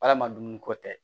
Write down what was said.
Arama dumuni ko tɛ